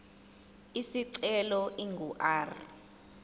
isicelo ingu r